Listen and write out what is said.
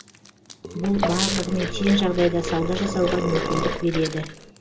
бұл барлығымен тең жағдайда сауда жасауға мүмкіндік береді